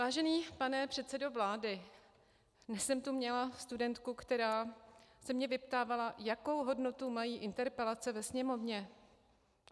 Vážený pane předsedo vlády, dnes jsem tu měla studentku, která se mě vyptávala, jakou hodnotu mají interpelace ve Sněmovně.